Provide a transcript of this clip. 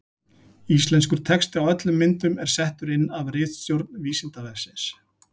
Íslenskur texti á öllum myndum er settur inn af ritstjórn Vísindavefsins.